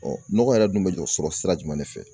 nɔgɔ yɛrɛ dun bɛ jɔ sɔrɔ sira jumɛn de fɛ?